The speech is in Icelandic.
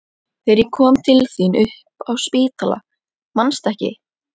Þegar ég kom til þín upp á spítala, manstu ekki?